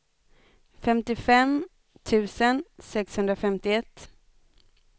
femtiofem tusen sexhundrafemtioett